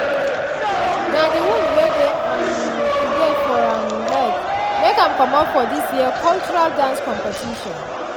na de wound wey um e get for um leg make ahm commot for dis year cultural dance competition